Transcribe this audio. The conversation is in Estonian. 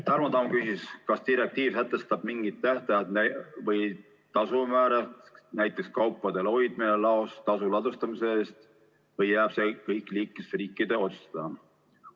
Tarmo Tamm küsis, kas direktiiv sätestab mingid tähtajad või tasumäärad, näiteks kaupade hoidmise eest laos, või jääb see kõik liikmesriikide otsustada.